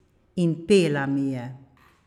In pela mi je.